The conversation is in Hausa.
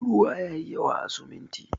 Ruwa yayi yawa a siminti.